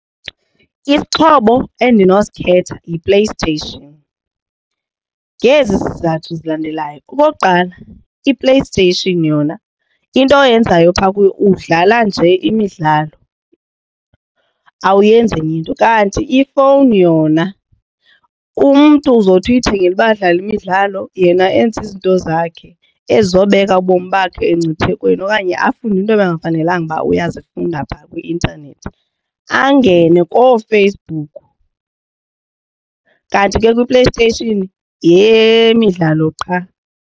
Isixhobo endinosikhetha yiPlayStation ngezi zizathu zilandelayo. Okokuqala iPlayStation yona into oyenzayo phaa kuyo udlala nje imidlalo awuyenzi enye into. Kanti ifowuni yona umntu uzothi uyithengele uba adlale imidlalo yena enze izinto zakhe ezizobeka ubomi bakhe emngciphekweni okanye afunde into ebekungafanelanga uba uyazifunda phaa kwi-intanethi angene kooFacebook ke kanti ke kwiPlayStation yeyemidlalo qha.